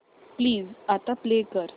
please आता play कर